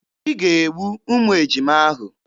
Ị ga-egbu ụmụ ejima ahụ!